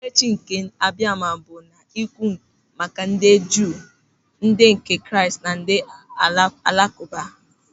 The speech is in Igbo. Okpukperechi nke Abiama bụ na-ekwu maka ndị Juu, ndị nke Kraịst na ndị Alakụba.